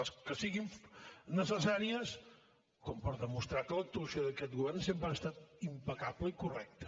les que siguin necessàries com per demostrar que l’actuació d’aquest govern sempre ha estat impecable i correcta